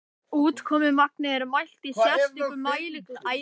úrkomumagnið er mælt í sérstöku mæliglasi úr plasti eða gleri